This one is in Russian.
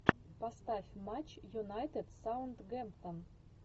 поставь матч юнайтед саутгемптон